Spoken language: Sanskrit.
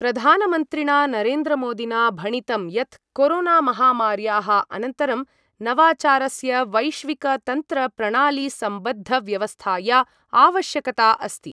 प्रधानमन्त्रिणा नरेन्द्रमोदिना भणितं यत् कोरोनामहामार्याः अनन्तरं नवाचारस्य वैश्विकतन्त्रप्रणालीसम्बद्धव्यवस्थाया आवश्यकता अस्ति।